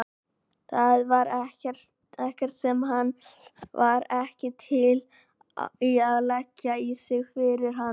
Það var ekkert sem hann var ekki til í að leggja á sig fyrir hana.